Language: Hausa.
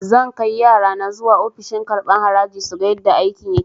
Zan kai yarana zuwa ofishin karɓan haraji suga yadda aikin yake